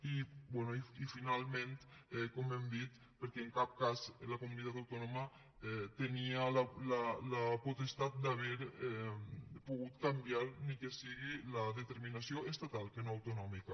i bé i finalment com hem dit perquè en cap cas la comunitat autònoma tenia la potestat d’haver pogut canviar ni que sigui la determinació estatal que no autonòmica